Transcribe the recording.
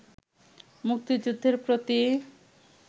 মুক্তিযুদ্ধের প্রতি